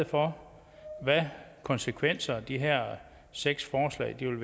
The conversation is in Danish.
for konsekvenser de her seks forslag vil